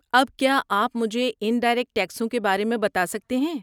اب کیا آپ مجھے انڈائریکٹ ٹیکسوں کے بارے میں بتا سکتے ہیں؟